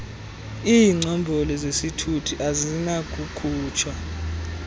iingcombolo zesithuthi azinakukhutshwa